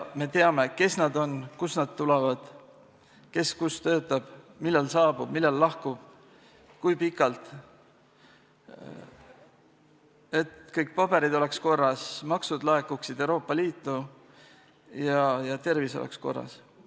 Me teame, kes nad on, kust nad tulevad, kes kus töötab, millal saabub, millal lahkub, kui pikalt siin viibib jne, nii et kõik paberid oleks korras, maksud laekuksid Euroopa Liitu ja tervis oleks korras.